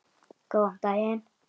Góðan daginn!